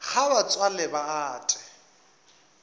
ga ba tswale ba ate